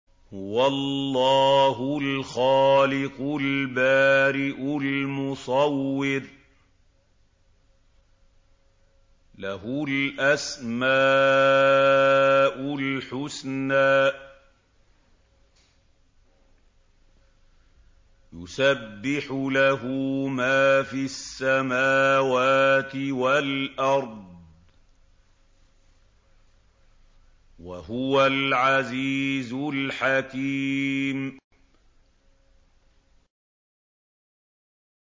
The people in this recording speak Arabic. هُوَ اللَّهُ الْخَالِقُ الْبَارِئُ الْمُصَوِّرُ ۖ لَهُ الْأَسْمَاءُ الْحُسْنَىٰ ۚ يُسَبِّحُ لَهُ مَا فِي السَّمَاوَاتِ وَالْأَرْضِ ۖ وَهُوَ الْعَزِيزُ الْحَكِيمُ